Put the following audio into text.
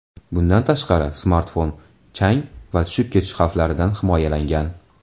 Bundan tashqari smartfon chang va tushib ketish xavflaridan himoyalangan.